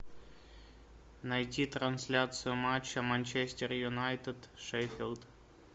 найти трансляцию матча манчестер юнайтед шеффилд